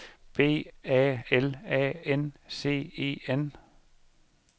B A L A N C E N